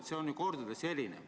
See on ju kordades erinev.